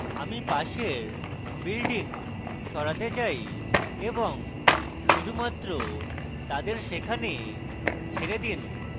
এবং আমি পাশের building সরাতে চাই এবং শুধুমাত্র তাদের সেখানে ছেড়ে দিন